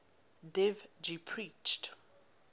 dev ji preached